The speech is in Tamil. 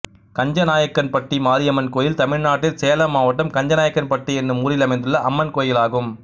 கஞ்சநாயக்கன்பட்டி மாரியம்மன் கோயில் தமிழ்நாட்டில் சேலம் மாவட்டம் கஞ்சநாயக்கன்பட்டி என்னும் ஊரில் அமைந்துள்ள அம்மன் கோயிலாகும்